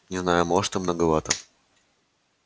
не знаю может и многовато